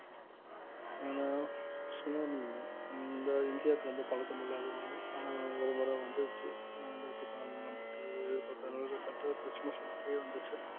ஏன்னா சுனாமி இந்த இந்தியாவுக்கு ரொம்ப பழக்கம் இல்லாத ஒண்ணு ஆனா ஒருமுறை வந்துருச்சு ரெண்டாயிரத்தி வந்துச்சு